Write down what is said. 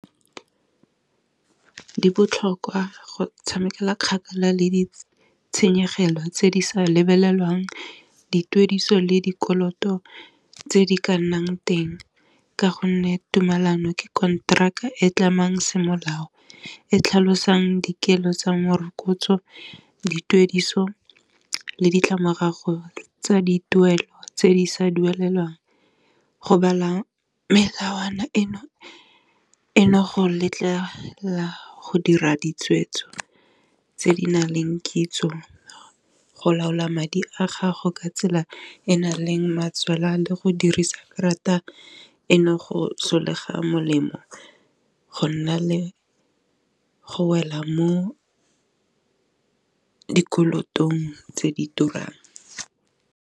Dibotlhokwa go tshamekela kgakala le ditshenyegelo tse di sa lebelelwang dituediso le dikoloto tse di ka nnang teng, ka gonne tumellano ke konteraka e tlhamang semolao e tlhalosang dikelo tsa morokotso dituediso le ditlamorago tsa dituelo tse di sa duelelwang, go bala melawana eno eno go letlela go dira ditshwetso tse di naleng kitso, go laola madi a gago ka tsela e na leng tswelwa le go dirisa karata eno go sologela molemo, go nna le go wela mo ka dikolotong tse di turang.